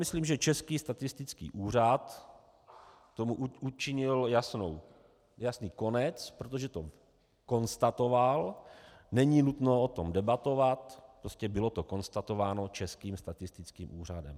Myslím, že Český statistický úřad tomu učinil jasný konec, protože to konstatoval, není nutno o tom debatovat, prostě bylo to konstatováno Českým statistickým úřadem.